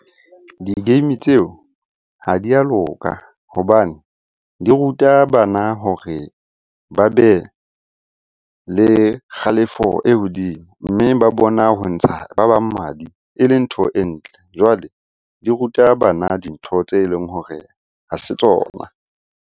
Di-game tseo ha di a loka hobane di ruta bana hore ba be le kgalefo e hodimo. Mme ba bona ho ntsha ba bang madi e le ntho e ntle. Jwale di ruta bana dintho tse leng hore ha se tsona.